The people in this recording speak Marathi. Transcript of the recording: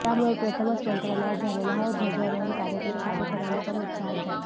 त्यामुळे प्रथमच मंत्रालयात झालेला हा ध्वजारोहण कार्यक्रम साधेपणाने पण उत्साहात झाला